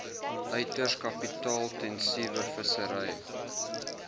uiters kapitaalintensiewe vissery